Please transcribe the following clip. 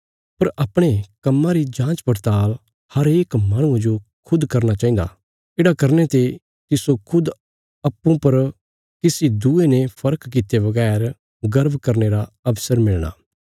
पर अपणे कम्मां री जाँचपड़ताल़ हरेक माहणुये जो खुद करना चाहिन्दा येढ़ा करने ते तिस्सो खुद अप्पूँ पर किसी दूये ने फर्क कित्ते बगैर गर्व करने रा अवसर मिलणा